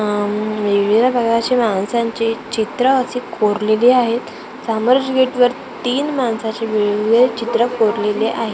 उम्म वेगवेगळ्या प्रकारच्या माणसांची चित्रं अशी कोरलेली आहेत सामोरच गेटवर तीन माणसाची वेगवेगळी चित्रं कोरलेली आहेत .